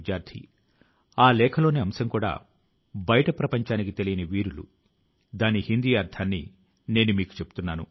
మీరంతా ఇందులో తప్పక భాగం పంచుకోవాలి అని నేను కోరుకొంటాను